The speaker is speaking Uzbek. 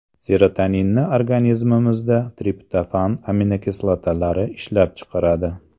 Serotoninni organizmimizda triptofan aminokislotalari ishlab chiqaradi.